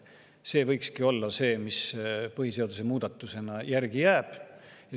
See võikski olla see, mis põhiseaduse muudatusse järgi jääb.